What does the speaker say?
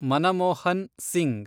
Manmohan Singh